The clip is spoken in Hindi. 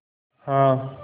हाँ